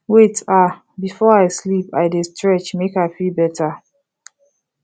wait ah before i sleep i dey stretch make i feel better